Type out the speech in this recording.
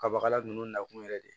Kabakala ninnu nakun yɛrɛ de